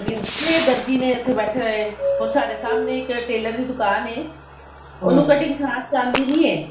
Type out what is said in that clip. ਹੁੰਦੀ ਦਰਜ਼ੀ ਨੇ ਉੱਥੇ ਬੈਠੇ ਹੋਏ ਹੁਣ ਸਾਡੇ ਸਾਹਮਣੇ ਇੱਕ tailor ਦੀ ਦੁਕਾਨ ਹੈ ਉਹਨੂੰ cutting ਖਾਸ ਆਉਂਦੀ ਨੀ ਹੈ